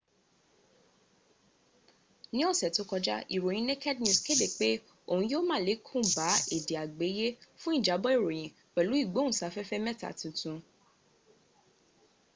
ní ọ̀sẹ̀ tó kọjá ìròyìn naked news kéde pé òun yó málèkún bá èdè àgbéyé fún ìjábọ̀ ìròyìn pẹ̀lú ìgbóhùnsáfẹ́fẹ́ mẹ́ta tuntun